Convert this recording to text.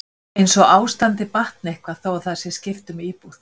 Eins og ástandið batni eitthvað þó að það sé skipt um íbúð?